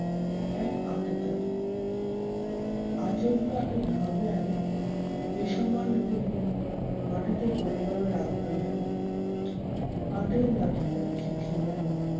এক আততায়ী। আচমকা এই হামলায় বেসামাল হয়ে মাটিতে পরে গেলো রামনারায়ণ। হাতের লাঠিটা ছিটকে গেলো।